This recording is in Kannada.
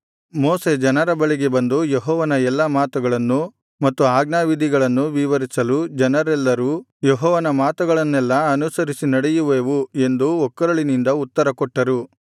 ಮೋಶೆ ಜನರ ಬಳಿಗೆ ಬಂದು ಯೆಹೋವನ ಎಲ್ಲಾ ಮಾತುಗಳನ್ನೂ ಮತ್ತು ಅಜ್ಞಾವಿಧಿಗಳನ್ನೂ ವಿವರಿಸಲು ಜನರೆಲ್ಲರೂ ಯೆಹೋವನ ಮಾತುಗಳನ್ನೆಲ್ಲಾ ಅನುಸರಿಸಿ ನಡೆಯುವೆವು ಎಂದು ಒಕ್ಕೊರಳಿನಿಂದ ಉತ್ತರಕೊಟ್ಟರು